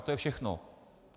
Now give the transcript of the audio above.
A to je všechno.